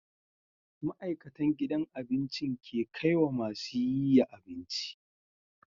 Ma'aikatan gidan abincin ke kaiwa masu yiya abinci